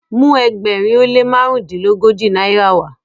mu ẹgbẹrin o le marundilogoji náírà wa!